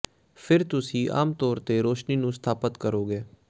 ਫਿਰ ਤੁਸੀਂ ਆਮ ਤੌਰ ਤੇ ਰੌਸ਼ਨੀ ਨੂੰ ਸਥਾਪਤ ਕਰੋਗੇ